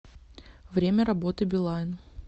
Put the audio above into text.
время работы билайн